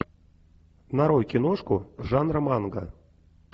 нарой киношку жанра манга